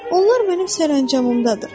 Onlar mənim sərəncamımdadır.